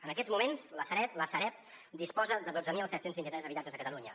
en aquests moments la sareb disposa de dotze mil set cents i vint tres habitatges a catalunya